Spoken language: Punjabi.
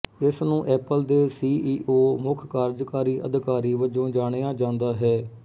ਇਸਨੂੰ ਐਪਲ ਦੇ ਸੀ ਈ ਓ ਮੁੱਖ ਕਾਰਜਕਾਰੀ ਅਧਿਕਾਰੀ ਵਜੋਂ ਜਾਣਿਆ ਜਾਂਦਾ ਹੈ